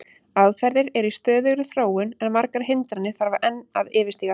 Aðferðir eru í stöðugri þróun en margar hindranir þarf að enn yfirstíga.